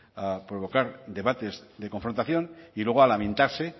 a provocar debates de confrontación y luego a lamentarse